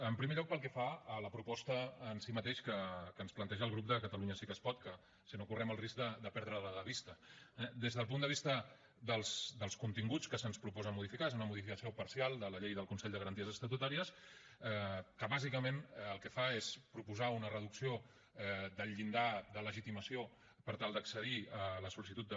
en primer lloc pel que fa a la proposta en si mateixa que ens planteja el grup de catalunya sí que es pot que si no correm el risc de perdre la de vista eh des del punt de vista dels continguts que se’ns proposa modificar és una modificació parcial de la llei del consell de garanties estatutàries que bàsicament el que fa és proposar una reducció del llindar de legitimació per tal d’accedir a la sol·licitud de